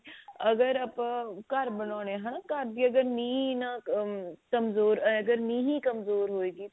ਅਗਰ ਆਪਾਂ ਘਰ ਬਣਾਉਣੇ ਹਨਾ ਘਰ ਦੀ ਅਗਰ ਨਿਹ hm ਕਮਜ਼ੋਰ ah ਜਾਂ ਨਿਹ ਹੀ ਕਮਜ਼ੋਰ ਹੋਵੇਗੀ